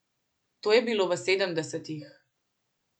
To je bilo v sedemdesetih.